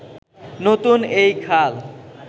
নতুন এই খাল